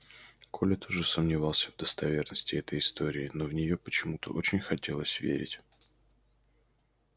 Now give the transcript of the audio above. коля тоже сомневался в достоверности этой истории но в неё почему то очень хотелось верить